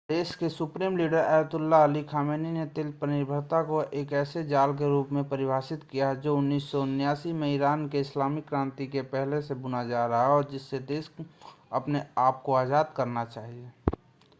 देश के supreme leader Ayatollah Ali Khamenei ने तेल पर निर्भरता को एक ऐसे जाल के रूप में परिभाषित किया है जो 1979 में इरान के इस्लामिक क्रांति के पहले से बुना जा रहा है और जिससे देश को अपने आपको आज़ाद करना चाहिए